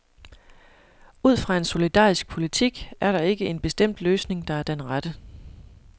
Ud fra en solidarisk politik er der ikke en bestemt løsning, der er den rette.